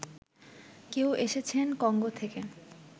কেউ এসেছেন কঙ্গো থেকে